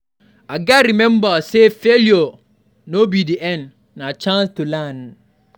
I gats remember say failure no be the end; na chance to learn.